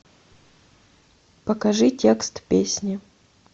покажи текст песни